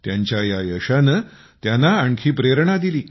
त्यांच्या या यशाने त्यांना आणखी प्रेरणा दिली